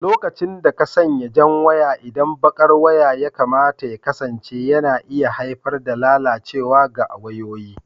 lokacin da ka sanya jan waya inda baƙar waya ya kamata ya kasance yana iya haifar da lalacewa ga wayoyi.